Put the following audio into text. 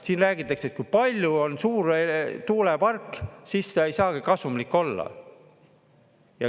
Siin räägitakse, et kui palju on suur tuulepark, siis ta ei saagi kasumlik olla.